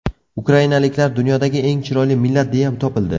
Ukrainaliklar dunyodagi eng chiroyli millat deya topildi.